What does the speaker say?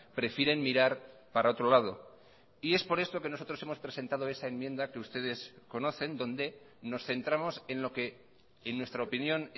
prefieren mirar para otro lado y es por esto que nosotros hemos presentado esa enmienda que ustedes conocen donde nos centramos en lo que en nuestra opinión